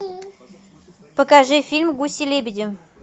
покажи фильм гуси лебеди